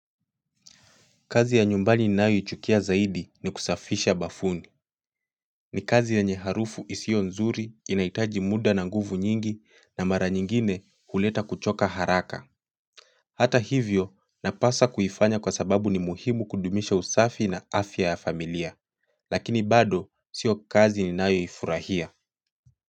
Kazi ya nyumbani ninayo ichukia zaidi ni kusafisha bafuni ni kazi yenye harufu isiyo nzuri, inahitaji muda na nguvu nyingi na mara nyingine kuleta kuchoka haraka Hata hivyo napasa kuifanya kwasababu ni muhimu kudumisha usafi na afya ya familia lakini bado sio kazi ninayo ifurahia.